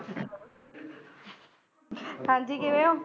ਹਾਂਜੀ ਕਿਵੇਂ ਓ?